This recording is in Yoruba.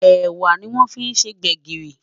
ẹwà ní wón fí ṣé gbègirí